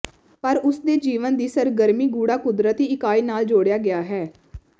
ਪਰ ਉਸ ਦੇ ਜੀਵਨ ਦੀ ਸਰਗਰਮੀ ਗੂੜ੍ਹਾ ਕੁਦਰਤੀ ਇਕਾਈ ਨਾਲ ਜੋੜਿਆ ਗਿਆ ਹੈ